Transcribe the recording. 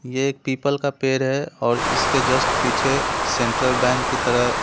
ये एक पीपल का पेड़ है और इसके जस्ट पीछे एक सेंट्रल बैंक की तरह-----